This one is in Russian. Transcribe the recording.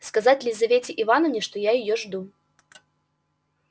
сказать лизавете ивановне что я её жду